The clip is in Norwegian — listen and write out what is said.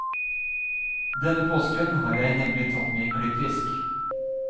Denne påsken har jeg nemlig tatt med klippfisk.